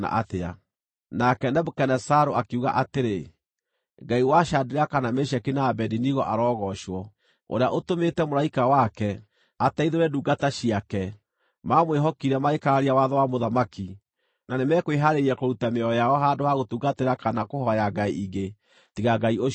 Nake Nebukadinezaru akiuga atĩrĩ, “Ngai wa Shadiraka, na Meshaki, na Abedinego arogoocwo, ũrĩa ũtũmĩte mũraika wake, ateithũre ndungata ciake! Mamwĩhokire, magĩkararia watho wa mũthamaki, na nĩmekwĩhaarĩirie kũruta mĩoyo yao handũ ha gũtungatĩra kana kũhooya ngai ingĩ, tiga Ngai ũcio wao.